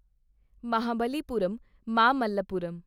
Mahabalipuram Mamallapuram